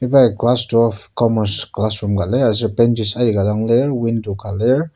Iba ya class twelve commerce classroom ka lir aser benches aika dang lir aser window ka lir.